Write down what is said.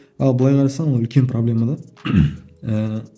ал былай қарасаң ол үлкен проблема да ііі